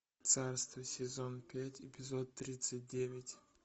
царство сезон пять эпизод тридцать девять